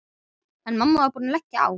En mamma var búin að leggja á.